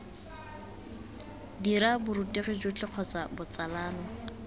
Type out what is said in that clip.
dira borutegi jotlhe kgotsa botsalano